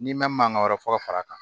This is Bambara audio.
N'i ma mankan wɛrɛ fɔ fara kan